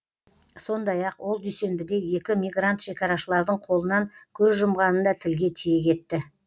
сондай ақ ол дүйсенбіде екі мигрант шекарашылардың қолынан көз жұмғанын да тілге тиек етті